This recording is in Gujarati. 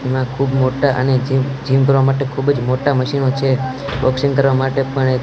એમાં ખુબ મોટા અને જી જીમ કરવા માટે ખુબજ મોટા મશીનો છે બોક્સિંગ કરવા માટે પણ એક--